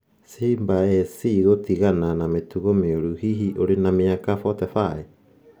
Simba SC gũtigana na mĩtugo mĩũru Hihi ũrĩ na mĩaka 45?